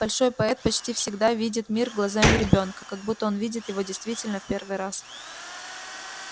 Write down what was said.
большой поэт почти всегда видит мир глазами ребёнка как будто он видит его действительно в первый раз